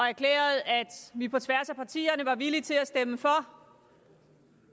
erklærede at vi på tværs af partierne var villige til at stemme for